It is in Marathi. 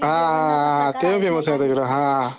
हा ते फेमस हा